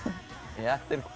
er